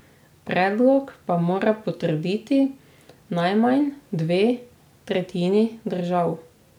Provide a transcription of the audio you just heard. Predlog pa mora potrditi najmanj dve tretjini držav.